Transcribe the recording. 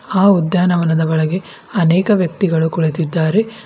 ಆ ಉದ್ಯಾನವನದ ಒಳಗೆ ಅನೇಕ ವ್ಯಕ್ತಿಗಳು ಕುಳಿತಿದ್ದಾರೆ.